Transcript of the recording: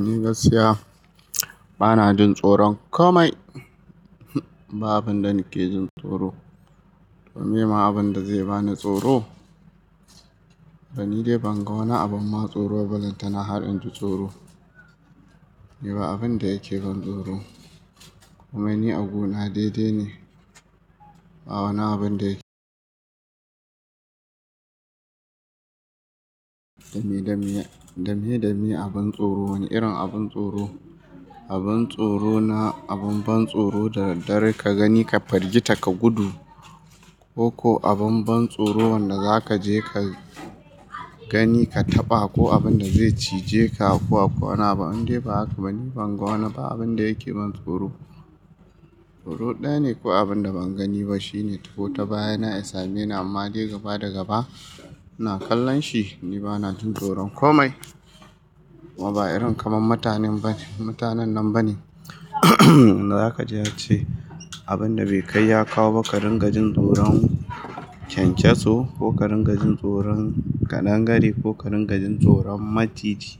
Ni gaskiya bana jin tsoron komai. Ba abin da nake jin tsoro. Meye ma abin da zai bani tsoro? To ni dai ban ga wani abin ma tsoro ballantana har in ji tsoro. Ni ba abin da yake ban tsoro. Kuma ni a guna daidai ne. Ba wani abin da yake Dame, dame, dame, dame abin tsoro. Wani irin abin tsoro? Abin tsoro na abin ban tsoro da daddare ka gani ka fargita ka gudu ko, ko abin ban tsoro wanda za ka je ka gani ka taɓa ko abin da zai cije ka ko akwai wani abu. Indai ba haka ba, ni ban ga wani ba abin da yake ban tsoro. Tsoro ɗaya ne ko abin da ban gani ba shine ko ta baya na ya same ni amma dai gaba da gaba ina kallon shi. Ni bana jin tsoron komai. Kuma ba irin kamar matanen ba ne, matanan nan ba ne. Za kaji a ce abin da bai kai ya kawo ba, ƙarin gajin tsoron kyankyaso ko ƙarin gajin tsoron ƙadangare ko ƙarin gajin tsoron maciji,